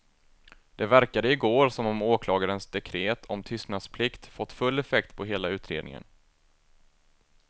Det verkade igår som om åklagarens dekret om tystnadsplikt fått full effekt på hela utredningen.